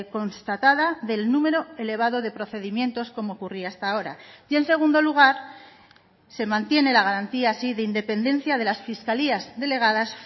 constatada del número elevado de procedimientos como ocurría hasta ahora y en segundo lugar se mantiene la garantía así de independencia de las fiscalías delegadas